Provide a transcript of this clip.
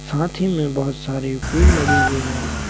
साथ ही में बहुत सारे पेड़ लगे हुए हैं।